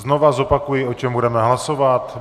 Znovu zopakuji, o čem budeme hlasovat.